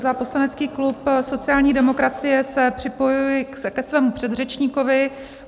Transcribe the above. Za poslanecký klub sociální demokracie se připojuji ke svému předřečníkovi.